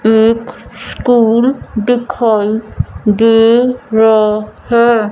एक स्कूल दिखाई दे रहा है।